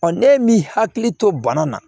ne min hakili to bana na